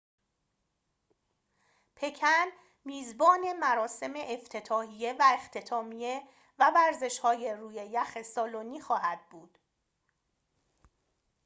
پکن میزبان مراسم افتتاحیه و اختتامیه و ورزشهای روی یخ سالنی خواهد بود